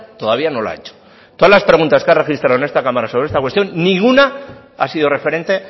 todavía no lo ha hecho todas las preguntas que ha registrado en esta cámara sobre esta cuestión ninguna ha sido referente